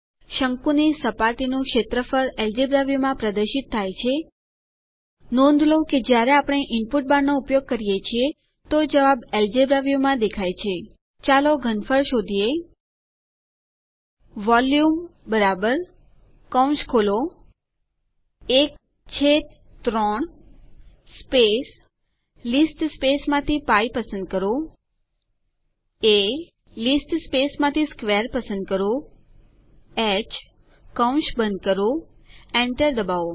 શંકુની સપાટીનું ક્ષેત્રફળ એલ્જેબ્રા વ્યુમાં પ્રદર્શિત થાય છે નોંધ લો કે જ્યારે આપણે ઇનપુટ બારનો ઉપયોગ કરીએ છીએ તો જવાબ એલ્જેબ્રા વ્યુમાં દેખાય છે ચાલો ઘનફળ શોધીએ વોલ્યુમ 13 π એ² હ વોલ્યુમ કૌંસ ખોલો 13 સ્પેસ લીસ્ટ સ્પેસમાંથી π પસંદ કરો એ લીસ્ટ સ્પેસમાંથી સ્ક્વેર પસંદ કરોh કૌંસ બંધ કરો Enter ડબાઓ